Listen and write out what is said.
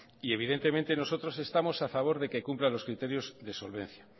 y evidentemente nosotros estamos a favor de que cumpla los criterios de solvencia